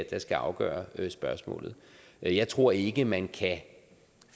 der skal afgøre spørgsmålet jeg tror ikke man kan